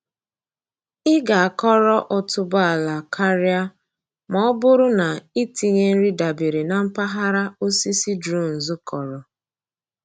Ị ga-akọrọ otuboala karịa ma ọ bụrụ na i tinye nri dabere na mpaghara osisi drones kọrọ.